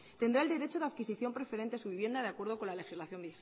tendrá el derecho de adquisición preferente a su vivienda de acuerdo con la legislación